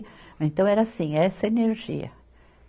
Então era assim, essa energia.